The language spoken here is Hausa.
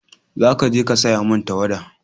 za ka je ka saya min tawada!